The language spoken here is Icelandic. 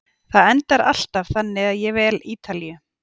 Það endar alltaf þannig að ég vel Ítalíu.